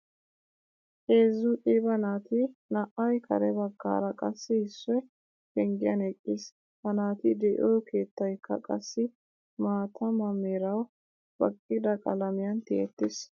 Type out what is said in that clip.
Heezzu qiiba naati naa'ay kare baggaara qassi issoy penggiyan eqqiis. Ha naati de'iyo keettaykka qassi maataama merawu baqqida qalamiyan tiyettiis.